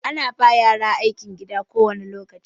Ana ba yara aikin gida kowane lokaci.